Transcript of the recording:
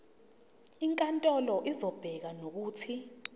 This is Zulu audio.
inkantolo izobeka nokuthi